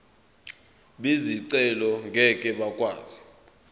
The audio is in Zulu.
bezicelo ngeke bakwazi